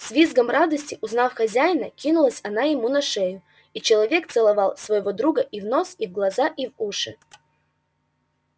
с визгом радости узнав хозяина кинулась она ему на шею и человек целовал своего друга и в нос и в глаза и в уши